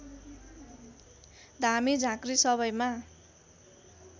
धामी झाँक्री सबैमा